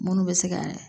Munnu bɛ se ka